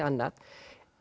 annað